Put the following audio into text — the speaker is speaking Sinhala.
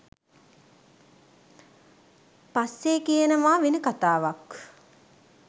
පස්සෙ කියනවා වෙන කතාවක්